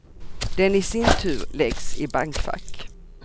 Den i sin tur läggs i bankfack.